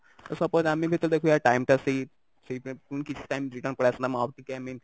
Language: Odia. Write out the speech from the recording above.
suppose ଆମେ ଯେତେବେଳେ ଦେଖୁ କି ୟାର time ଟା free ସେଇ କିଛି time ଦିନ ପଳେଇ ଆସନ୍ତା ମୁଁ ଆଉ ଟିକେ i mean